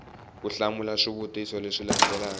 ku hlamula swivutiso leswi landzelaka